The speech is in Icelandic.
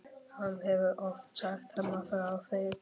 Hann hefur oft sagt Hemma frá þeim.